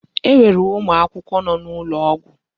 E nwere ụmụ akwụkwọ nọ n'ụlọ ọgwụ.